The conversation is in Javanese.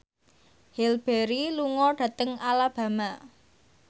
Halle Berry lunga dhateng Alabama